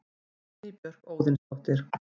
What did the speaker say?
Guðný Björk Óðinsdóttir